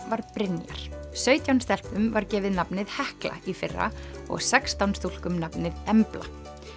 var Brynjar sautján stelpum var gefið nafnið Hekla í fyrra og sextán stúlkum nafnið Embla